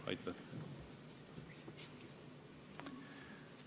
Aitäh!